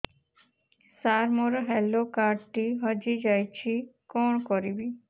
ସାର ମୋର health card ଟି ହଜି ଯାଇଛି କଣ କରିବି